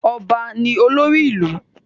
Ọba ní olórí ìlú.